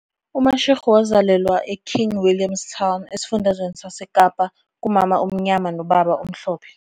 UMashego wazalelwa eKing William's Town, esifundazweni saseKapa, kumama omnyama nobaba omhlophe.